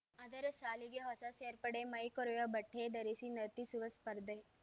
ಅದರ ಸಾಲಿಗೆ ಹೊಸ ಸೇರ್ಪಡೆ ಮೈ ಕೊರೆವ ಬಟ್ಟೆ ಧರಿಸಿ ನರ್ತಿಸುವ ಸ್ಪರ್ಧೆ